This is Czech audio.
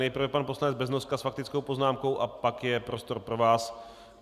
Nejprve pan poslanec Beznoska s faktickou poznámkou a pak je prostor pro vás.